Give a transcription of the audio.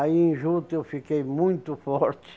Aí em juta eu fiquei muito forte.